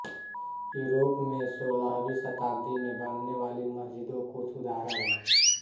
Europe में सोलहवीं शताब्दी में बनने वाली मस्जिदों कुछ उदाहरण हैं